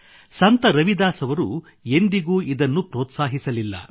ಸಂತ ರವಿದಾಸ್ ಅವರು ಎಂದಿಗೂ ಇದನ್ನು ಪ್ರೋತ್ಸಾಹಿಸಲಿಲ್ಲ